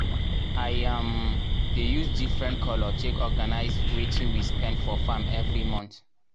i um dey use different colour take organize wetin we spend for farm everi month.